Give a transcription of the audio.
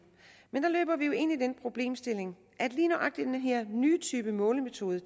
men der løber vi jo ind i den problemstilling at lige nøjagtig den her nye type målemetode